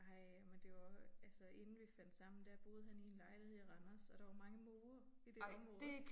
Ej men det var jo også altså inden vi fandt sammen der boede han i en lejlighed i Randers og der var mange måger i det område